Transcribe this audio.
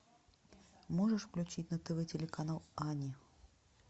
можешь включить на тв телеканал ани